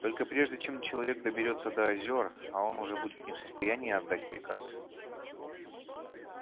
только прежде чем человек доберётся до озёр а он уже будет не в состоянии отдать приказ